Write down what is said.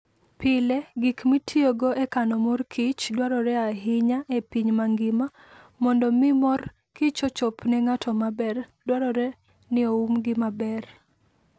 Pile, gik mitiyogo e kano mor kich dwarore ahinya e piny mangima. Mondo mi mor kich ochop ne ng'ato maber, dwarore ni oumgi maber.